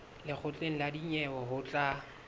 lekgotleng la dinyewe ho tla